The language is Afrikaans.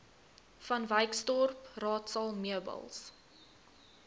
vanwyksdorp raadsaal meubels